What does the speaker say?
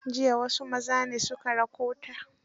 Jiya wasu maza ne su ka rakota.